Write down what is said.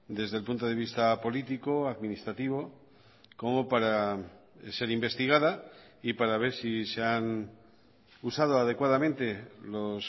desde el punto de vista político administrativo como para ser investigada y para ver si se han usado adecuadamente los